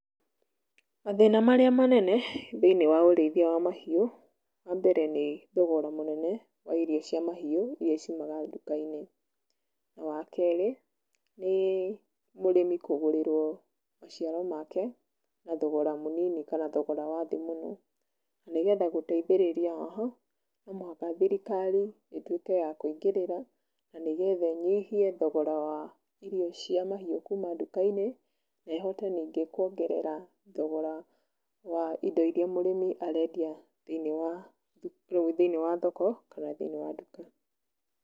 Mathĩna marĩa manene thĩinĩ wa ũrĩithia wa mahiũ, wa mbere nĩ thogora mũnene wa irio cia mahiũ, iria ciumaga nduka-inĩ na wa kerĩ nĩ mũrĩmi kũgũrirwo maciaro make na thogora mũnini kana thogora wa thĩĩ mũno. Nĩgetha gũteithĩrĩria haha no mũhaka thirikari ĩtuĩke ya kũingĩrĩra na nĩgetha ĩnyihie thogora wa irio cia mahiũ kuma duka-inĩ, nehote ningĩ kũongerera thogora wa indo iria mũrĩmi arendia thĩinĩ wa thoko kana thĩinĩ wa duka.